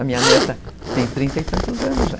A minha neta tem trinta e tantos anos já.